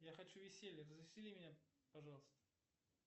я хочу веселья развесели меня пожалуйста